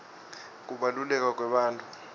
kubaluleka kwebantfu